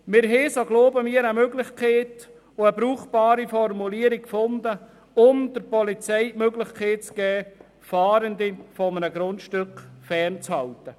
Wir haben, so glauben wir, eine Möglichkeit und eine brauchbare Formulierung gefunden, um der Polizei die Möglichkeit zu geben, Fahrende von einem Grundstück fernzuhalten.